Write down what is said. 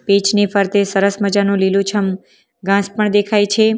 Pitch ની ફરતે સરસ મજાનું લીલુંછમ ઘાસ પણ દેખાય છે.